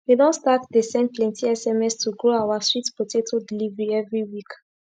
we don start dey send plenti sms to grow our sweet potato delivery everi week